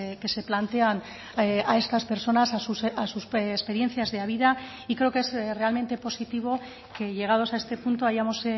que se plantean a estas personas a sus experiencias de vida y creo que es realmente positivo que llegados a este punto hayamos